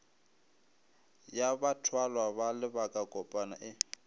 ya bathwalwa ba lebakakopana e